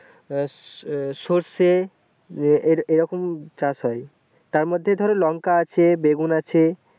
এ এ সরষে এ এ এইরকম চাষ হয় তার মধ্যে ধরো লঙ্কা আছে বেগুন আছে ।